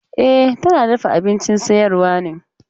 E, tana dafa abincin sayarwa ne.